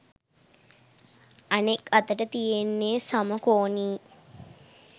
අනෙක් අතට තියෙන්නෙ සමකෝණී